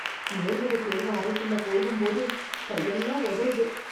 நேர்முகத் தேர்வு அறைக்குள்ள போகும்போது கை எல்லாம் உதறுது